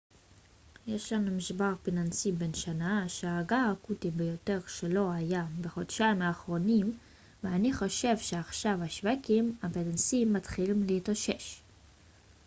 יש לנו משבר פיננסי בן שנה שהרגע האקוטי ביותר שלו היה בחודשיים האחרונים ואני חושב שעכשיו השווקים הפיננסיים מתחילים להתאושש